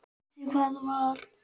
Hann vissi hvað það var.